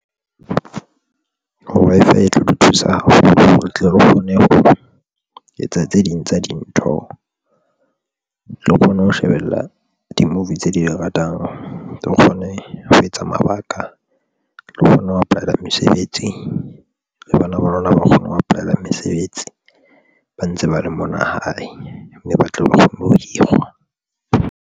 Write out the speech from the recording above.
Wi-Fi e tlo di thusa haholo hore re tle re kgone ho etsa tse ding tsa dintho. O tlo kgona ho shebella di-movie tse di ratang tlo kgona ne ho etsa mabaka, re kgona ho apply-ela mesebetsi le bana ba rona ba kgona ho apply-ela mesebetsi ba ntse ba le mona hae mme ba tle ba kgone ho hirwa.